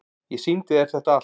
Ég sýndi þér þetta allt.